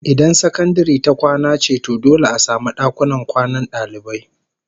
Idan sakandare ta kwana ce to dole a samu dakunan kwanan dalibai